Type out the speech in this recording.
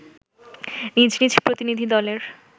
নিজ নিজ প্রতিনিধি দলের